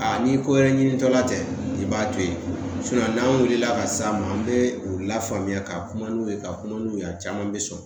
Aa ni ko wɛrɛ ɲinitɔla tɛ i b'a to yen n'an wulila ka s'a ma an bɛ u lafaamuya ka kuma n'u ye ka kuma n'u ye a caman bɛ sɔn